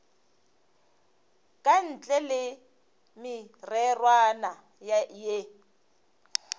ka ntle le mererwana ye